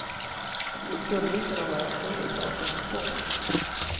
Det skulle ju kunna vara större saker än så.